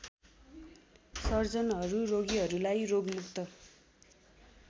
सर्जनहरू रोगीहरूलाई रोगमुक्त